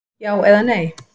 Já eða nei?